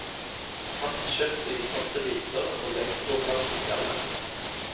Hakk kjøttet i passe biter og legg det på plass i skallet.